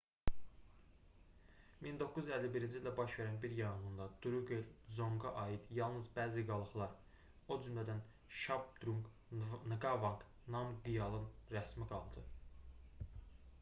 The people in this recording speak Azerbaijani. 1951-ci ildə baş verən bir yanğında druqel dzonqa aid yalnız bəzi qalıqlar o cümədən şabdrunq nqavanq namqyalın rəsmi qaldı